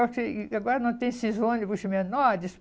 Só que agora não tem esses ônibus menores.